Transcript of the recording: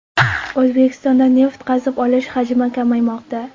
O‘zbekistonda neft qazib olish hajmi kamaymoqda.